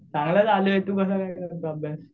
चांगला चालू आहे तू कसा काय करतो अभ्यास?